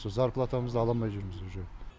со зарплатамызды аламай жүрміз уже